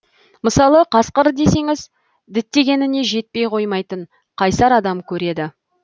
мысалы қасқыр десеңіз діттегеніне жетпей қоймайтын қайсар адам көреді